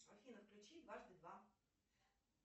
афина включи дважды два